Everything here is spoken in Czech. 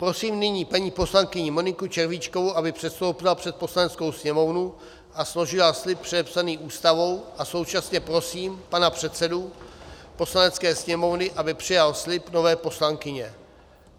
Prosím nyní paní poslankyni Moniku Červíčkovou, aby předstoupila před Poslaneckou sněmovnu a složila slib předepsaný Ústavou, a současně prosím pana předsedu Poslanecké sněmovny, aby přijal slib nové poslankyně.